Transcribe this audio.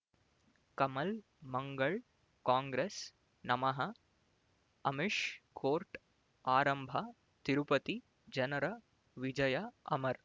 ಕಮಲ್ ಮಂಗಳ್ ಕಾಂಗ್ರೆಸ್ ನಮಃ ಅಮಿಷ್ ಕೋರ್ಟ್ ಆರಂಭ ತಿರುಪತಿ ಜನರ ವಿಜಯ ಅಮರ್